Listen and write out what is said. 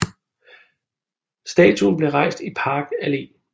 Statuen blev rejst i Park Allé